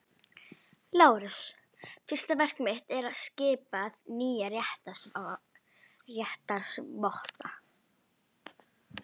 LÁRUS: Fyrsta verk mitt er að skipa nýja réttarvotta.